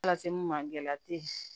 Lase mun ma gɛlɛya te ye